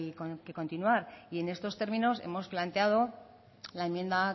hay que continuar y en estos términos hemos planteado la enmienda